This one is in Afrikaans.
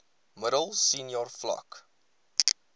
middel senior vlak